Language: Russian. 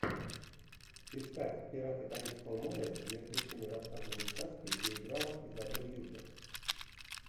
искать пираты карибского моря мертвецы не рассказывают сказки где играла изабель юппер